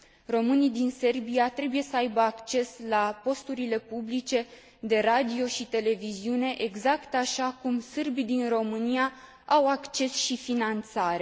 Românii din Serbia trebuie să aibă acces la posturile publice de radio și televiziune, exact așa cum sârbii din România au acces și finanțare.